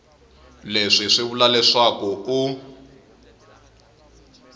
leswi swi vula leswaku u